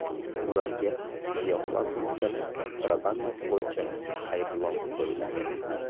Ularga giyohvand moddalar kontrabandasi bo‘yicha ayblov qo‘yiladi.